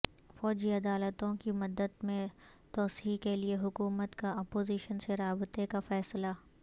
فوجی عدالتوں کی مدت میں توسیع کے لیے حکومت کا اپوزیشن سے رابطے کا فیصلہ